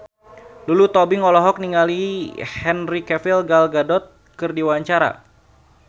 Lulu Tobing olohok ningali Henry Cavill Gal Gadot keur diwawancara